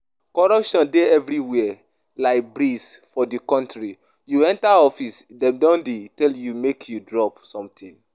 Corruption dey everywhere like breeze for the country, you enter office dem don dey tell you make you drop something